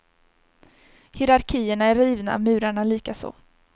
Hierarkierna är rivna, murarna likaså.